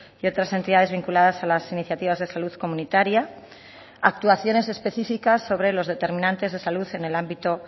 y otras entidades vinculadas a las iniciativas de salud comunitaria actuaciones específicas sobre los determinantes de salud en el ámbito